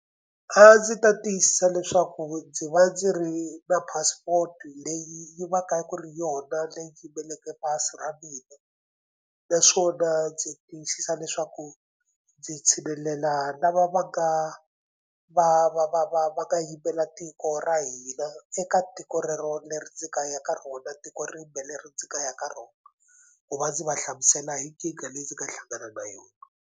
A ndzi ta tiyisisa leswaku ndzi va ndzi ri na passport leyi va ka ku ri yona leyi yimeleke pasi ra mina naswona ndzi tiyisisa leswaku ndzi tshinelela lava va nga va va va va va nga yimela tiko ra hina eka tiko rero leri ndzi ka ya ka rona tiko rimbe leri ndzi ka ya ka rona ku va ndzi va hlamusela hi nkingha leyi ndzi nga hlangana na yona.